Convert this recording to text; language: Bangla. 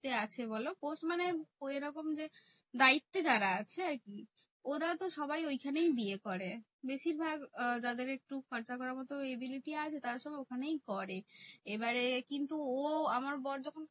আছে বলো post মানে ওই এরকম যে, দায়িত্বে যারা আছে আরকি। ওরা তো সবাই ঐখানেই বিয়ে করে। বেশিরভাগ আহ যাদের একটু খরচা করার মতো ability আছে, তারা তো ওখানেই করে। এবারে কিন্তু ও আমার বর যখন